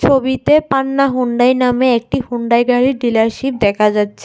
ছবিতে পান্না হুন্ডাই নামে একটি হুন্ডাই গাড়ির ডিলারশিপ দেখা যাচ্ছে।